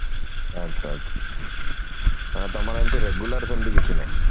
ଆଛା ଆଛା ତମର ଏମିତି regular ସେମିତି କିଛି ନାଇଁ